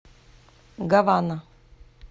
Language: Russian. гавана